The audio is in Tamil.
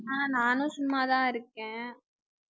ஆஹ் நானும் சும்மாதான் இருக்கேன்